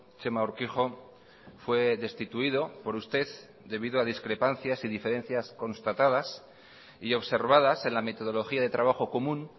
txema urkijo fue destituido por usted debido a discrepancias y diferencias constatadas y observadas en la metodología de trabajo común